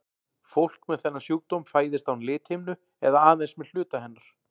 Fólk með þennan sjúkdóm fæðist án lithimnu eða aðeins með hluta hennar.